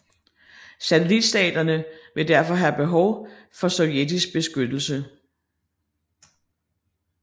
Satellitstaterne ville derfor have behov for Sovjetisk beskyttelse